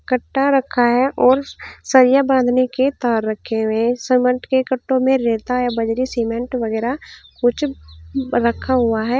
कट्टा रखा है और सरिया बांधने की तार रखे हुए हैं सीमेंट के कट्टों में रेता या बजरी सीमेंट वगैरह कुछ रखा हुआ है।